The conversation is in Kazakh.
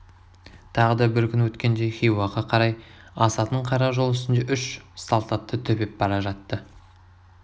тағы да бір күн өткенде хиуаға қарай асатын қара жол үстінде үш салт атты төпеп бара жатты